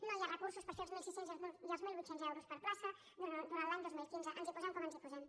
no hi ha recursos per fer els mil sis cents i els mil vuit cents per plaça durant l’any dos mil quinze ens hi po·sem com ens hi posem